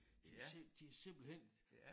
De de simpelthen